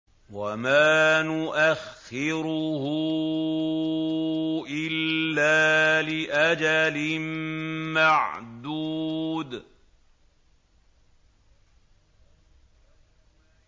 وَمَا نُؤَخِّرُهُ إِلَّا لِأَجَلٍ مَّعْدُودٍ